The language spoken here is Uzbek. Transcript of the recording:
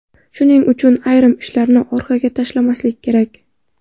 Shuning uchun ayrim ishlarni orqaga tashlamaslik kerak.